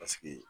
Paseke